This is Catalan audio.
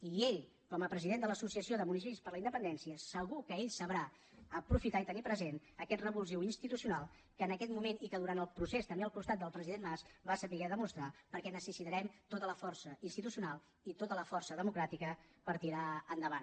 i ell com a president de l’associació de municipis per la independència segur que sabrà aprofitar i tenir present aquest revulsiu institucional que en aquest moment i que durant el procés també al costat del president mas van saber demostrar perquè necessitarem tota la força institucional i tota la força democràtica per tirar endavant